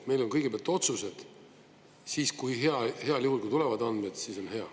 Meil on kõigepealt otsused, siis kui heal juhul tulevad andmed, siis on hea.